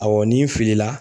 Awɔ ni n filila